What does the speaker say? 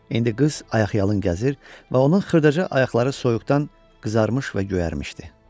İndi qız ayaqyalın gəzir və onun xırdaca ayaqları soyuqdan qızarmış və göyərmişdi.